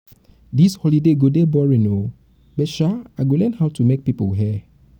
dis holiday go dey boring oo but sha i go learn how to make people hair